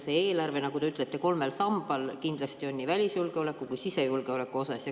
See eelarve, nagu te ütlesite, asub kolmel sambal kindlasti nii välisjulgeoleku kui ka sisejulgeoleku mõttes.